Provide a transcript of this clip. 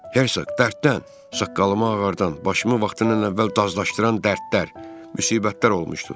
Hersoq, dərddən saqqalımı ağardan, başımı vaxtından əvvəl dazlaşdıran dərdlər, müsibətlər olmuşdu.